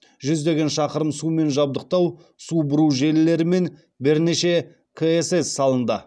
жүздеген шақырым сумен жабдықтау су бұру желілері мен бірнеше ксс салынды